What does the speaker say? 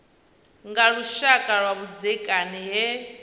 nga lushaka lwa vhudzekani he